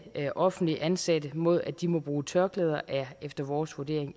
offentligt ansatte mod at de må bruge tørklæder er efter vores vurdering